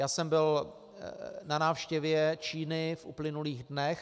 Já jsem byl na návštěvě Číny v uplynulých dnech.